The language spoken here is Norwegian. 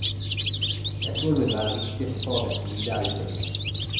Jeg tror de vil være viktige for fagets videre utvikling.